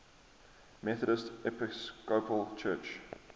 methodist episcopal church